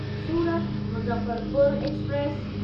Surat Muzaffarpur express